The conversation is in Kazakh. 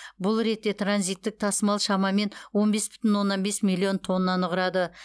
бұл ретте транзиттік тасымал шамамен он бес бүтін оннан бес миллион тоннаны құрады